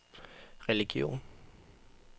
religion